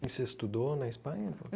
Você estudou na Espanha?